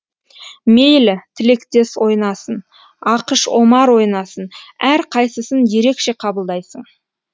мейлі тілектес ойнасын ақыш омар ойнасын әр қайсысын ерекше қабылдайсың